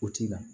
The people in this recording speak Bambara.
O ti na